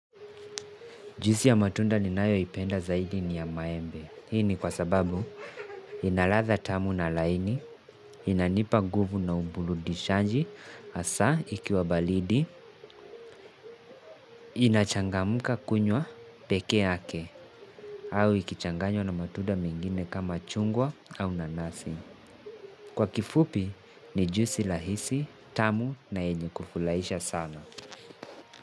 Juisi ya matunda ni nayo ipenda zaidi ni ya maembe. Hii ni kwa sababu ina latha tamu na laini, inanipa nguvu na uburudishanji, hasa ikiwa baridi, inachangamuka kunywa peke yake, au ikichanganywa na matunda mengine kama chungwa au nanasi. Kwa kifupi ni juisi rahisi, tamu na yenye kufuraisha sana.